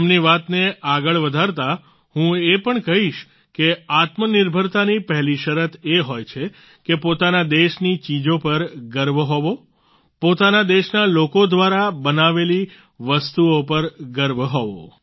તેમની વાતને આગળ વધારતા હું એ પણ કહીશ કે આત્મનિર્ભરતાની પહેલી શરત એ હોય છે કે પોતાના દેશની ચીજો પર ગર્વ હોવો પોતાના દેશના લોકો દ્વારા બનાવેલી વસ્તુઓ પર ગર્વ હોવો